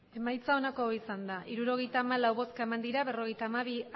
emandako botoak hirurogeita hamalau bai berrogeita hamabi